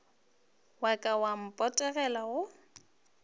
wa ka wa potego go